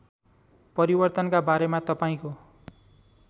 परिवर्तनका बारेमा तपाईँको